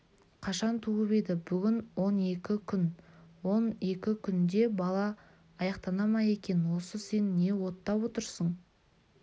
қашан туып еді бүгін он екі күг он екі күнде бала аяқтана ма екен осы сен не оттап отырсың